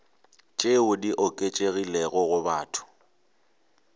tšeo di oketšegilego go batho